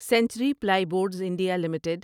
century Plyboards India limited